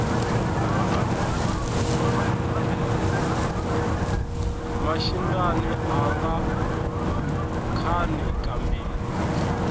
maxindyani anga khani ka mbirhi